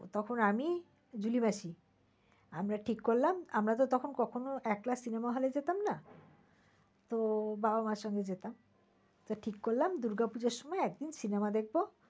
তখন আমি জুলি মাসি আমরা ঠিক করলাম আমরা তো কখনো একলা cinema hall এ যেতাম না তো বাবা মার সঙ্গে যেতাম। তো ঠিক করালাম দূর্গা পূজার সময় একদিন cinema দেখব।